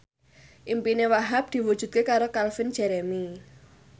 impine Wahhab diwujudke karo Calvin Jeremy